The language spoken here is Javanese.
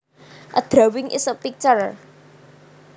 A drawing is a picture